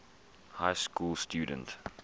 high school student